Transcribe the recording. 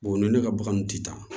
ni ne ka bagan ti taa